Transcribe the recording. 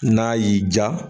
N'a y'i diya